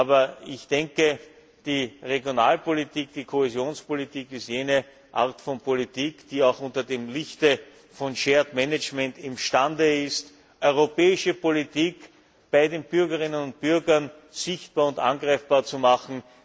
Aber die Regionalpolitik, die Kohäsionspolitik, ist jene Art von Politik, die auch unter dem Lichte von Shared Management imstande ist, europäische Politik bei den Bürgerinnen und Bürgern sichtbar und greifbar zu machen.